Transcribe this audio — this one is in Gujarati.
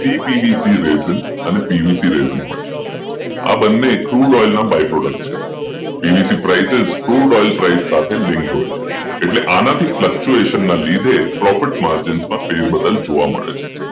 cpvc resin PVC resin હોય છે આ બંને ક્રૂડ ઓઇલના પ્રોડક્ટ છે PVC prices ક્રુડ ઓઇલ સાથે એટલે આનાથી Fluctuation Profit margins માં પણ ફેરબદલ જોવા મળે છે